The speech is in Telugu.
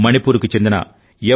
మణిపూర్ కు చెందిన ఎం